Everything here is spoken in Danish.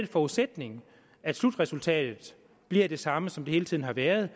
forudsætning af et slutresultatet bliver det samme som det hele tiden har været